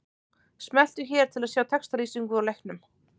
Smelltu hér til að sjá textalýsingu úr leiknum